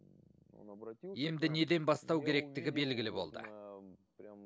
емді неден бастау керектігі белгілі болды